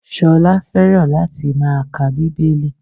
Ṣolá fẹ́ràn láti máa ka Bíbélì.